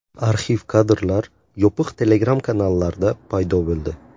Arxiv kadrlar yopiq Telegram-kanallarda paydo bo‘ldi.